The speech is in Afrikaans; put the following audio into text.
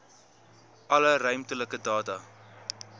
alle ruimtelike data